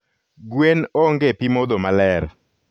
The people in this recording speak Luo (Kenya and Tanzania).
gwen onge pimodho maler